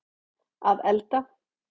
að elda